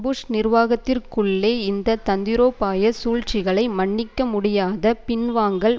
push நிர்வாகத்திற்குள்ளே இந்த தந்திரோபாய சூழ்ச்சிகளை மன்னிக்க முடியாத பின்வாங்கல்